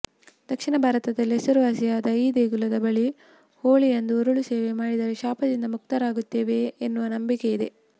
ದಕ್ಷಿಣ ಭಾರತದಲ್ಲೇ ಹೆಸರುವಾಸಿಯಾದ ಈ ದೇಗುಲದ ಬಳಿ ಹೋಳಿಯಂದು ಉರುಳುಸೇವೆ ಮಾಡಿದರೆ ಶಾಪದಿಂದ ಮುಕ್ತರಾಗುತ್ತೇವೆ ಎನ್ನುವ ನಂಬಿಕೆ ಇದೆ